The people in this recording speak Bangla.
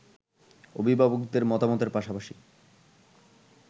অভিভাবকদের মতামতের পাশাপাশি